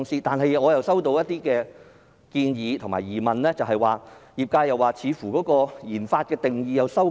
但是，我收到業內一些建議及疑問，認為政府似乎收緊了研發的定義。